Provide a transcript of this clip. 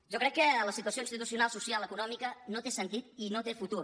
jo crec que la situació institucional social i econòmica no té sentit i no té futur